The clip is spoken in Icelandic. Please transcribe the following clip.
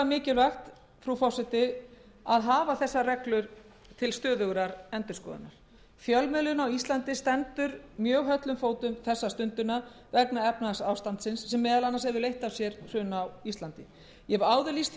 mikilvægt frú forseti að hafa þessar reglur til stöðugrar endurskoðunar fjölmiðlun á íslandi stendur mjög höllum fæti þessa stundina vegna efnahagsástandsins sem meðal annars hefur leitt af sér hrun á íslandi ég hef áður lýst því yfir